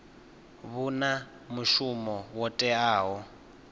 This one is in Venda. vhu na mushumo wo teaho